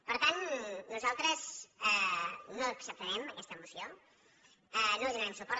per tant nosaltres no acceptarem aquesta moció no li do narem suport